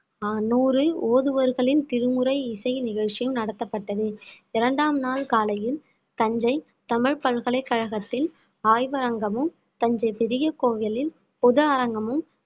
நூறில் ஓதுவர்களின் திருமுறை இசை நிகழ்ச்சியும் நடத்தப்பட்டது இரண்டாம் நாள் காலையில் தஞ்சை தமிழ் பல்கலைக்கழகத்தின் ஆய்வகமும் தஞ்சை பெரிய கோவிலில் பொது அரங்கமும்